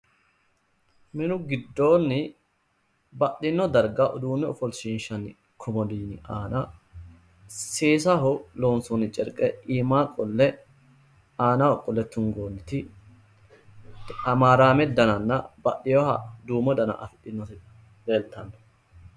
Minu giddoonni baxxino darga uduunne ofoshshiinshanni komodiino aana seesaho loonsoonni carqe iima qolle aanaho qolle tungoonniti hamaaraame dananna baxxewooha duumo dana afidhinoti leeltanno.